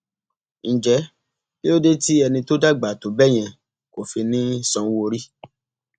ǹjẹ kí ló dé tí ẹni tó dàgbà tó bẹẹ yẹn kò fi ní í sanwóorí